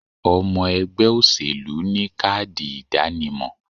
Omo ègbé òṣèlú ni káàdì ìdánimo